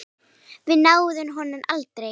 Og við náðum honum aldrei.